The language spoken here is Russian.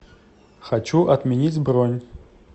хочу отменить бронь